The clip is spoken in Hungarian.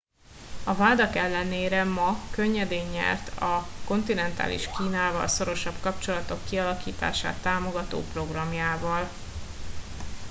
a vádak ellenére ma könnyedén nyert a kontinentális kínával szorosabb kapcsolatok kialakítását támogató programjával